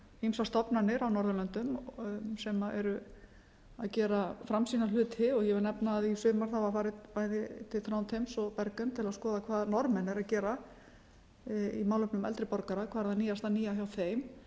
ýmsar stofnanir á norðurlöndum sem eru að gera framsýna hluti ég vil nefna að í sumar var farið bæði til þrándheims og bergen til að skoða hvað norðmenn eru að gera í málefnum eldri borgara hvað það nýjasta nýja hjá þeim